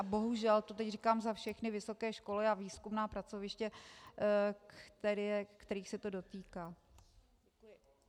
A bohužel, to teď říkám za všechny vysoké školy a výzkumná pracoviště, kterých se to dotýká.